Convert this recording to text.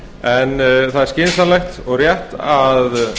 en það er skynsamlegt og rétt að